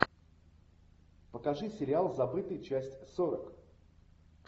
покажи сериал забытый часть сорок